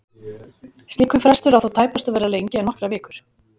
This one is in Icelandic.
Slíkur frestur á þó tæpast að vera lengri en nokkrar vikur.